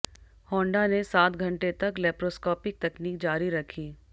Honda ने सात घंटे तक लैप्रोस्कोपिक तकनीक जारी रखी